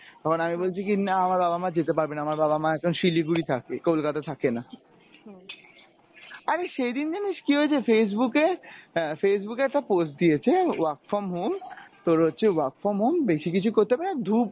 তখন আমি বলছি কী না আমার বাবা মা যেতে পারবে না আমার বাবা মা এখন শিলিগুড়ি থাকে কলকাতাতে থাকে না। আরে সেইদিন জানিস কী হয়েছে Facebook এ আহ Facebook এ একটা post দিয়েছে work form home তোর হচ্ছে work form home বেশি কিছু করতে হবে না ধুপ